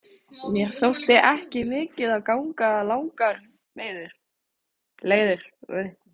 Mér þótti ekki mikið að ganga langar leiðir.